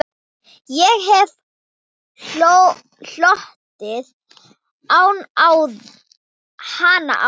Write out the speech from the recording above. Ég hef hlotið hana áður.